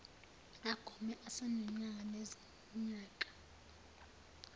agome esenonyaka nezinyanga